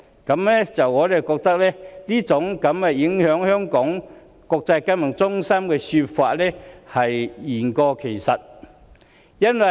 我們認為，聲稱馬凱事件會影響香港國際金融中心的地位，這說法實在言過其實。